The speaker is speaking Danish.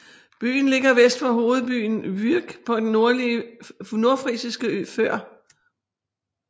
Byen ligger vest for hovedbyen Vyk på den nordfrisiske ø Før